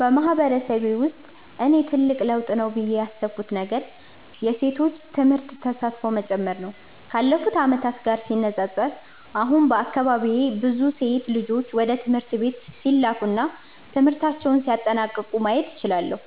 በማህበረሰቤ ውስጥ እኔ ትልቅ ለውጥ ነው ብዬ ያሰብኩት ነገር የሴቶች ትምህርት ተሳትፎ መጨመር ነው። ካለፉት ዓመታት ጋር ሲነጻጸር፣ አሁን በአካባቢዬ ብዙ ሴት ልጆች ወደ ትምህርት ቤት ሲላኩ እና ትምህርታቸውን ሲያጠናቅቁ ማየት እችላለሁ።